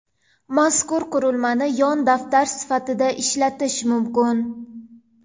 Mazkur qurilmani yon daftar sifatida ishlatish mumkin.